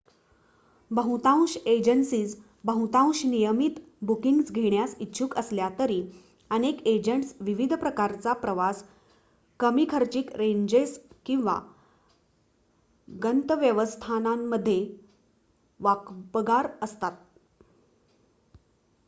बहुतांश एजन्सीज बहुतांश नियमित बुकींग्ज घेण्यास इ्च्छुक असल्या तरी अनेक एजंट्स विशिष्ट प्रकारचा प्रवास कमी खर्चिक रेंजेस किंवा गंतव्यस्थानांमध्ये वाकबगार असतात